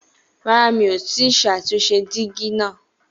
Rárá, mi ò tí ì ṣàtúnṣe dígí náà